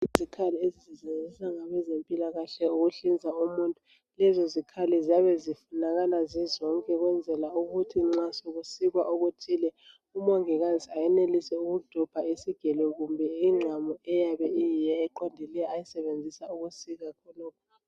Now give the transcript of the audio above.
Izikhali ezisetshenziswa ngabezempilakahle ukuhlinza umuntu lezozikhali ziyabe zifunakala zizonke ukwenzela ukuthi nxa sekusikwa okuthile umongikazi ayenelise ukudobha isigelo kumbe inqamu eyabe iyiyo eqonde ayisebenzisa ukusika khonokho